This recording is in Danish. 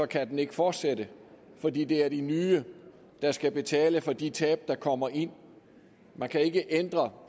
kan den ikke fortsætte fordi det er de nye der skal betale for de tab der kommer ind man kan ikke ændre